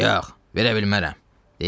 Yox, verə bilmərəm!